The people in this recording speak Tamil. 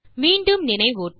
மீண்டும் நினைவூட்ட